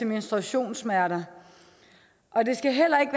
menstruationssmerter og det skal heller ikke